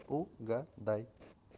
угадай